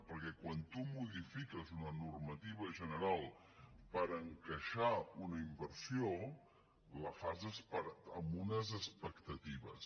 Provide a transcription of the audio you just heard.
perquè quan tu modifiques una normativa general per encaixar una inversió la fas amb unes expectatives